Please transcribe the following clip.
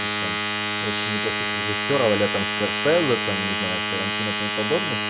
их там очень неплохих режиссёров аля там скорсеза там не знаю тарантино и тому подобных